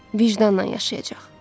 Vicdanla yaşayacaq.